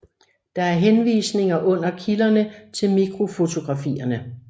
Der er henvisninger under kilderne til mikrofotografierne